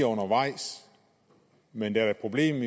undervejs men der er et problem